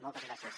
moltes gràcies